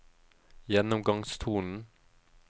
gjennomgangstonen